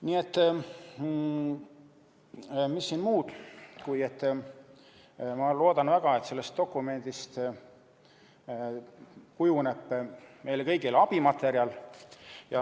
Nii et, mis siin muud, kui et ma loodan väga, et sellest dokumendist kujuneb meile kõigile abimaterjal.